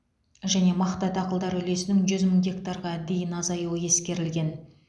және мақта дақылдары үлесінің жүз мың гектарға дейін азаюы ескерілген